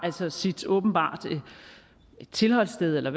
åbenbart et tilholdssted eller